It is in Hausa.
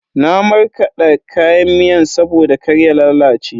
Na markade kayan miyan saboda kar ya lalace.